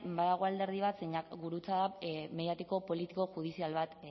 badago alderdi bat zeinak gurutzada mediatiko politiko judizial bat